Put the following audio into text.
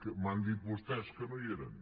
m’han dit vostès que no hi eren